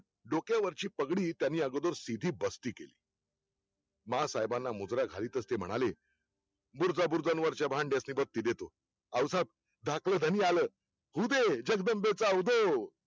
डोक्यावरची पगडी त्यांनी अगोदर सिधी बसती केली माँ साहेबांना मुजरा घालीतच ते म्हणाले, बुरजा बुर्जांच्या वरच्या भक्ती देत्यो, आऊसाब आपलं धनी आल, होऊदे जगदंबेच्या उदो